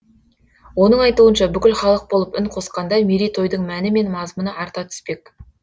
оның айтуынша бүкіл халық болып үн қосқанда мерейтойдың мәні мен мазмұны арта түспек